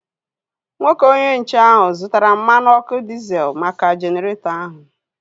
Nwoke onye nche ahu zụtara mmanụ ọkụ diezel maka Jeneretọ ahu